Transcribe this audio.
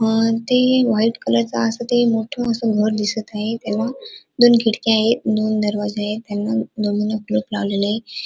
अ इथे व्हाइट कलरच अस ते मोठ घर अस घर दिसत आहे त्याला दोन खिडक्या आहेत दोन दरवाजा आहे त्यांना दोन्हींना कुलूप लावलेल आहे.